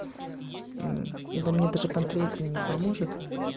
м ибо мне даже панкреатин не поможет